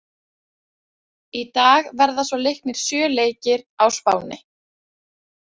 Í dag verða svo leiknir sjö leikir á Spáni.